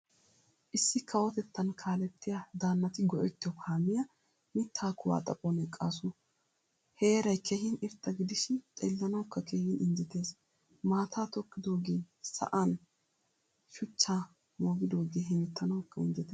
Issi kawotettan kaalettiyaa daanatti go'ettiyo kaamiyaa mittaa kuwaa xaphphon eqqasu. Heeray keehin irxxa gidishin xeelanawukka keehin injjeettees. Maataa tokkidoge sa'aan shuchcha moogidoge hemettanawukka injjettees.